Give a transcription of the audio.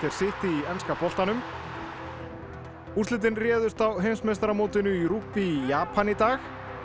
City í enska boltanum úrslitin réðust á heimsmeistaramótinu í rugby í Japan í dag